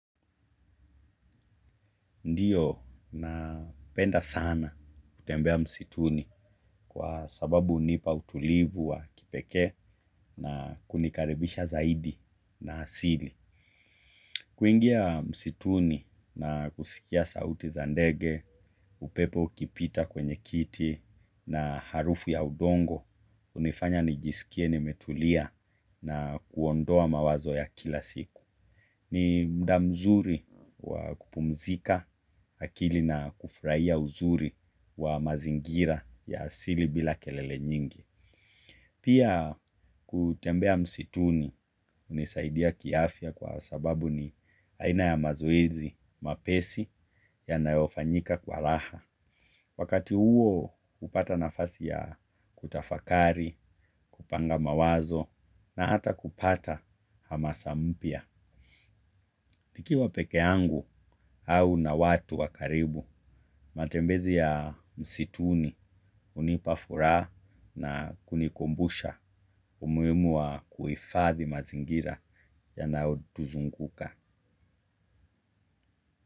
Ndiyo napenda sana kutembea msituni kwa sababu unipa utulivu wa kipekee na kunikarebisha zaidi na asili. Kuingia msituni na kusikia sauti za ndege, upepo ukipita kwenye kiti na harufu ya udongo, unifanya nijiskie nimetulia na kuondoa mawazo ya kila siku. Ni mda mzuri wa kupumzika akili na kufraia uzuri wa mazingira ya asili bila kelele nyingi. Pia kutembea msituni unisaidia kiafya kwa sababu ni aina ya mazoezi mapesi yanayo fanyika kwa raha. Wakati huo kupata nafasi ya kutafakari, kupanga mawazo na hata kupata hamasa mpya. Nikiwa peke yangu au na watu wa karibu, matembezi ya msituni unipa furaa na kunikumbusha umuimu wa kuifathi mazingira yanao tuzunguka.